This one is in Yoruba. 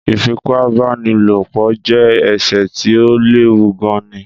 Ìfipá-bá-ni-lò-po je èsè tí o léwu gan ni